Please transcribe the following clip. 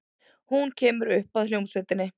Hún kemur upp að hljómsveitinni.